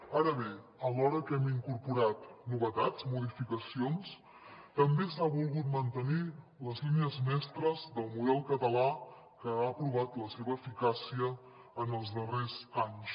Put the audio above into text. ara bé alhora que hem incorporat novetats modificacions també s’ha volgut mantenir les línies mestres del model català que ha provat la seva eficàcia en els darrers anys